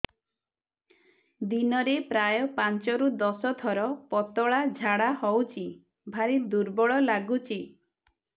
ଦିନରେ ପ୍ରାୟ ପାଞ୍ଚରୁ ଦଶ ଥର ପତଳା ଝାଡା ହଉଚି ଭାରି ଦୁର୍ବଳ ଲାଗୁଚି